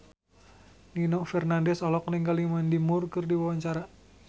Nino Fernandez olohok ningali Mandy Moore keur diwawancara